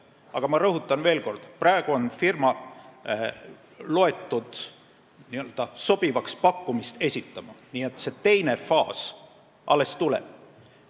Aga ma rõhutan veel kord, et praegu on firma loetud n-ö sobivaks pakkumise esitajaks ja teine faas alles tuleb.